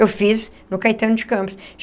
Eu fiz no Caetano de Campos.